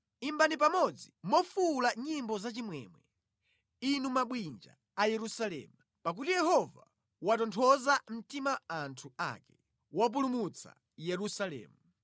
Imbani pamodzi mofuwula nyimbo zachimwemwe, inu mabwinja a Yerusalemu, pakuti Yehova watonthoza mtima anthu ake, wapulumutsa Yerusalemu.